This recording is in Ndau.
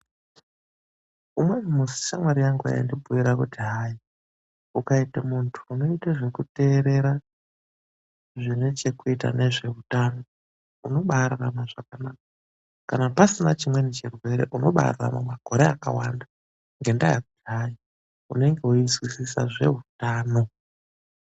Umweni musi shamwari yangu yaindibhuira kuti hayi, ukaita munhu unoita zvekuterera zvine chekuita nezveutano unobaararama zvakanaka . Kana pasina chimweni chirwere unobaararama makore akawanda ngendaa yekuti hayi unenge weizwisisa zveutano.